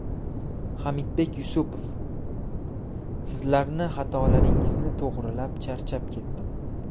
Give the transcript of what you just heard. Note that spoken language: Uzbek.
Hamidbek Yusupov: Sizlarni xatolaringizni to‘g‘rilab charchab ketdim.